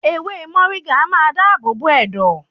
Ewé mọ̀ríngà a máa dá àbò bo ẹ̀dọ̀.